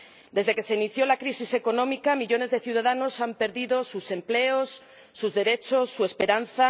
Desde que se inició la crisis económica millones de ciudadanos han perdido sus empleos, sus derechos, su esperanza...